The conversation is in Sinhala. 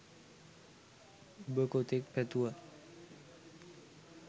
ඔබ කොතෙක් පැතුවත්